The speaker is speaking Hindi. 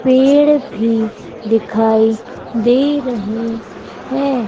पेड़ भी दिखाई दे रहे है।